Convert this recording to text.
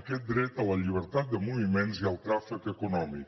aquest dret a la llibertat de moviments i al tràfic econòmic